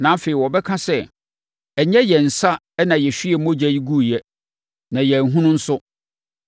Na afei wɔbɛka sɛ, “Ɛnyɛ yɛn nsa na yɛhwiee mogya yi guiɛ na yɛanhunu nso.